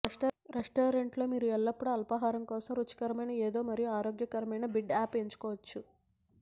restaurant లో మీరు ఎల్లప్పుడూ అల్పాహారం కోసం రుచికరమైన ఏదో మరియు ఆరోగ్యకరమైన బిడ్డ అప్ ఎంచుకోవచ్చు